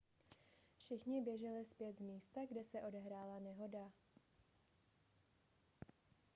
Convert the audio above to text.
všichni běželi zpět z místa kde se odehrála nehoda